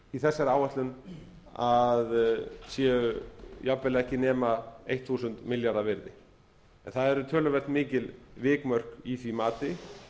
í þessari áætlun að séu jafnvel ekki nema eitt þúsund milljarða virði en það eru töluvert mikil vikmörk í því mati